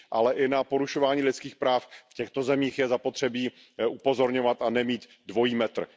Ale i na porušování lidských práv v těchto zemích je zapotřebí upozorňovat a nemít dvojí metr.